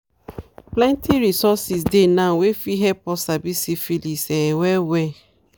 plenty resources dey now wey fit help us sabi syphilis um well well